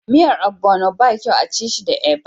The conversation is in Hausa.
Miyan ogbono ba kyau a'ci shi da eba.